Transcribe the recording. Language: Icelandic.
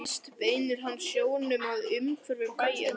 Næst beinir hann sjónum að umhverfi bæjarins.